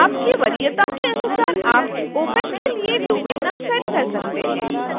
आपकी वरीयता के अनुसार आप opac के लिए डोमेन नाम सेट कर सकते हैं